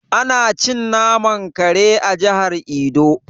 Ana cin naman kare a jihar edo.